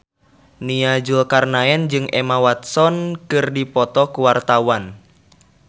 Nia Zulkarnaen jeung Emma Watson keur dipoto ku wartawan